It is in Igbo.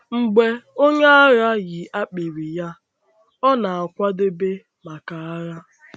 Mgbe onye agha yi akpịrị ya, ọ na-akwadebe maka agha.